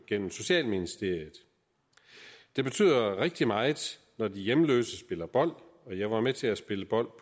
gennem socialministeriet det betyder rigtig meget når de hjemløse spiller bold jeg var med til at spille bold